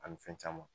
Ani fɛn caman